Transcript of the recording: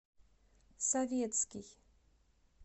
советский